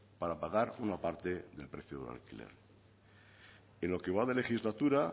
para pagar una parte del precio del alquiler en lo que va de legislatura